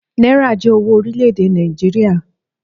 Náírà jé owó orílè èdè Nàìjíríà.